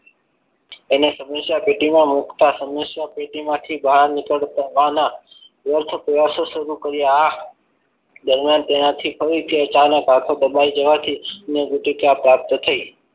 એ સમસ્યા પેટીમાં મુકતા સમસ્યા પેટીમાંથી બહાર નીકળતા હોવાના વ્યર્થ પ્રયાસો શરૂ કર્યા દરમિયાન તેનાથી ફરી થી અચાનક હાથો દબાવી જવા થી અન્ન ગુટિકા પ્રાપ્ત થઈ